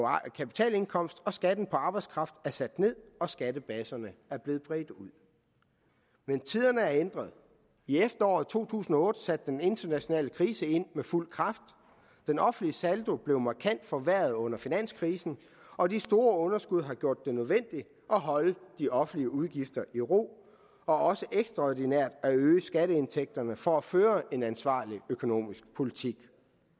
kapitalindkomst og skatten på arbejdskraft er sat ned og skattebaserne er blevet bredt ud men tiderne er ændret i efteråret to tusind og otte satte den internationale krise ind med fuld kraft den offentlige saldo blev markant forværret under finanskrisen og de store underskud har gjort det nødvendigt at holde de offentlige udgifter i ro og også ekstraordinært at øge skatteindtægterne for at føre en ansvarlig økonomisk politik